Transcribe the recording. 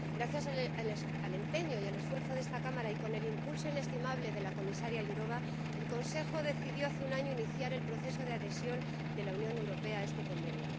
Gracias al empeño y al esfuerzo de esta Cámara y con el impulso inestimable de la comisaria Jourová, el Consejo decidió hace un año iniciar el proceso de adhesión de la Unión Europea a este Convenio.